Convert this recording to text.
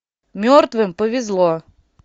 мертвым повезло